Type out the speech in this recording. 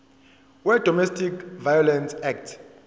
wedomestic violence act